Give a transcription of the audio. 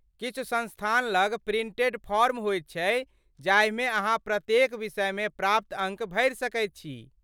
किछु संस्थान लग प्रिंटेड फॉर्म होयत छै जाहिमे अहाँ प्रत्येक विषयमे प्राप्त अङ्क भरि सकैत छी।